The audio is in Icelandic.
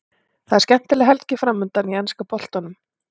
Það er skemmtileg helgi framundan í enska boltanum.